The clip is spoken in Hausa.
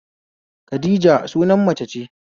Khadija suna mace ce